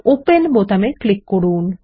open বোতামে click করুন